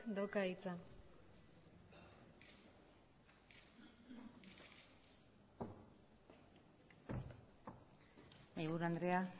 dauka hitza mahaiburu andrea